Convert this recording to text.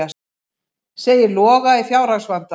Segir Loga í fjárhagsvanda